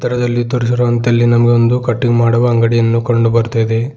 ಚಿತ್ರದಲ್ಲಿ ತೋರಿಸಿರುವಂತೆ ಅಲ್ಲಿ ನಮಗೆ ಒಂದು ಕಟಿಂಗ್ ಮಾಡುವ ಅಂಗಡಿಯನ್ನು ಕಂಡು ಬರ್ತಾ ಇದೆ.